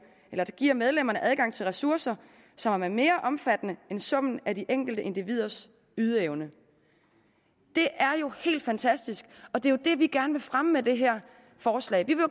giver medlemmerne adgang til ressourcer som er mere omfattende end summen af de enkelte individers ydeevne det er jo helt fantastisk og det er det vi gerne vil fremme med det her forslag vi vil